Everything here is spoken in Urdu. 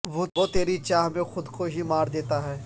وہ تیری چاہ میں خود کو ہی مار دیتا ہے